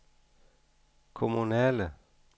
kommunale